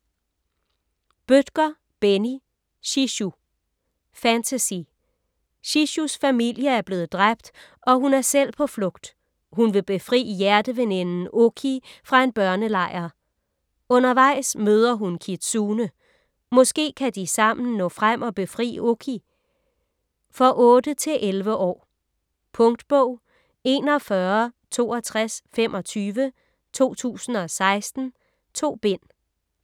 Bødker, Benni: Shishu Fantasy. Shishus familie er blevet dræbt og hun er selv på flugt. Hun vil befri hjerteveninden Oki fra en børnelejr. Undervejs møder hun Kitsune. Måske kan de sammen nå frem og befri Oki? For 8-11 år. Punktbog 416225 2016. 2 bind.